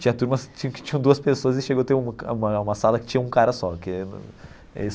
Tinha turmas que tinham duas pessoas e chegou a ter uma uma uma sala que tinha um cara só.